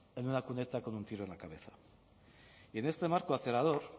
eu una cuneta con un tiro en la cabeza y en este marco aterrador